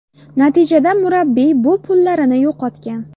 Natijada murabbiy bu pullarini yo‘qotgan.